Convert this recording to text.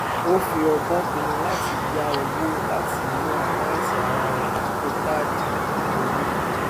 ó fi ọgbọn pinnu láti yá owó láti inú àkántì ara rẹ dípò káàdì gbígbówó